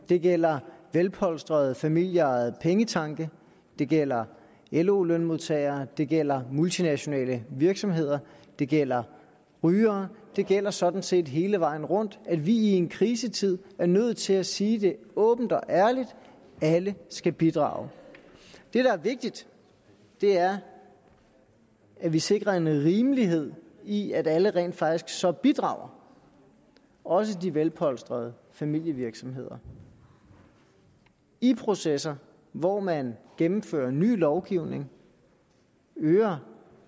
det gælder velpolstrede familieejede pengetanke det gælder lo lønmodtagere det gælder multinationale virksomheder det gælder rygere det gælder sådan set hele vejen rundt at vi i en krisetid er nødt til at sige det åbent og ærligt alle skal bidrage det der er vigtigt er at vi sikrer en rimelighed i at alle rent faktisk så bidrager også de velpolstrede familievirksomheder i processer hvor man gennemfører ny lovgivning øger